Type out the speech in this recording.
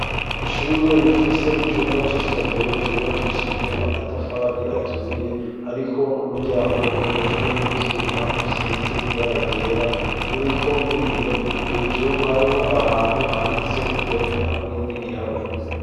Ishure rifise icumba cy'isomero cubakishijwe amatafari aturiye ariko n'umuryango ukozwe mu vyuma usize ibaragera uriko n'ibiyo hejuru hariho ahantu handitse indome hamwe n'igiharuro.